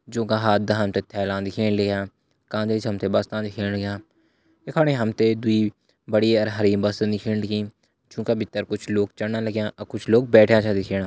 जु का हाता हमते थैला दिखेण लग्यां काद इच हमते बस आ दिखेण लग्यां यख फणी हमते द्वि बड़ी अर हरी बस छन दिखेण लगी जु का भित्तर कुछ लोग चढ़ना लगया और कुछ लोग बैठ्या छ दिख्येणा।